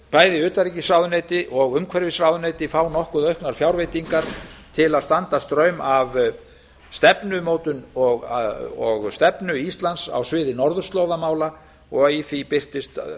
bæði utanríkisráðuneyti og umhverfisráðuneyti fá nokkuð auknar fjárveitingar til að standa straum af stefnumótun og stefnu íslands á sviði norðurslóðamála og í því birtist